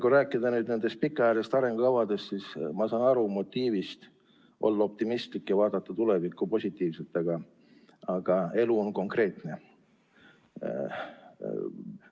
Kui rääkida pikaajalistest arengukavadest, siis ma saan aru motiivist olla optimistlik ja vaadata tulevikku positiivselt, aga elu on konkreetne.